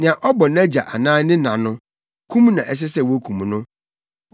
“Nea ɔbɔ nʼagya anaa ne na no, kum na ɛsɛ sɛ wokum no.